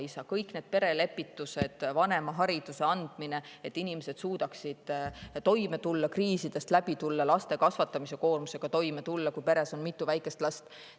Sinna alla käib kõik see: perelepitused, vanemahariduse andmine, et inimesed suudaksid toime tulla, kriisidest läbi tulla ja laste kasvatamise koormusega toime tulla, kui peres on mitu väikest last.